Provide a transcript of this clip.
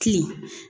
Ki